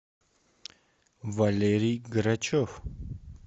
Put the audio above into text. валерий грачев